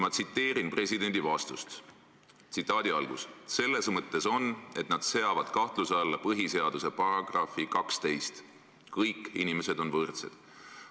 " Ma tsiteerin presidendi vastust: "Selles mõttes on, et nad seavad kahtluse alla põhiseaduse paragrahvi 12: kõik inimesed on võrdsed.